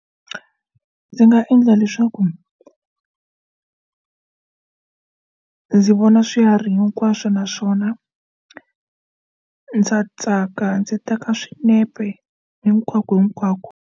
Ndzi nga endla leswaku ndzi vona swiharhi hinkwaswo naswona ndza tsaka ndzi teka swinepe hinkwako hinkwako.